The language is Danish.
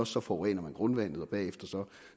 så forurener man grundvandet og derefter